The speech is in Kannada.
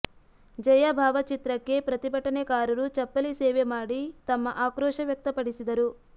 ಜಯಾ ಭಾವಚಿತ್ರಕ್ಕೆ ಪ್ರತಿಭಟನೆಕಾರರು ಚಪ್ಪಲಿ ಸೇವೆ ಮಾಡಿ ತಮ್ಮ ಆಕ್ರೋಶ ವ್ಯಕ್ತಪಡಿಸಿದರು